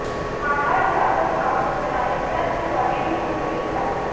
ਮਾਮਲਾ ਅਧਿਆਪਕ ਆਗੂ ਨਰਾਇਣ ਦੱਤ ਤਿਵਾੜੀ ਦੀ ਮੁਅੱਤਲੀ ਦਾ